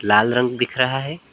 लाल रंग दिख रहा है।